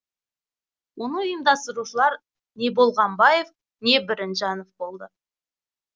оны ұйымдастырушылар не болғанбаев не бірімжанов болды